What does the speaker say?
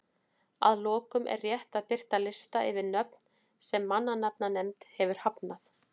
Að lokum er rétt að birta lista yfir nöfn sem mannanafnanefnd hefur hafnað.